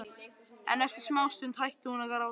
En eftir smástund hætti hún að gráta.